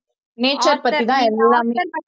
nature பத்திதான் எல்லாமே